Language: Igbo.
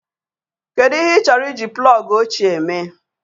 Kedu ihe ị chọrọ iji plọg ochie mee?